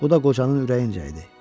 Bu da qocanın ürəyincə idi.